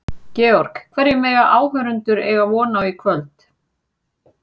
Georg, hverju mega áhorfendur eiga von á í kvöld?